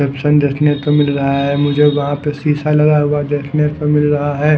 Junction देखने को मिल रहा है मुझे वहां पे शीशा लगा हुआ देखने से मिल रहा है।